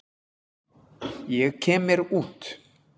Ég kem mér út.